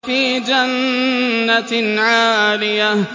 فِي جَنَّةٍ عَالِيَةٍ